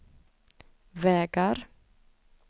vägar